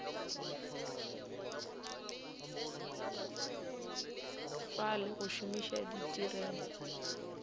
fa le go šomiša ditirelo